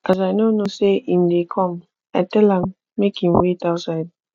as i no know sey im dey come i tell am make im wait outside